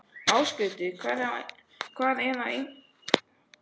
Ásgautur, hvað er á innkaupalistanum mínum?